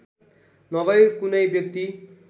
नभई कुनै व्यक्ति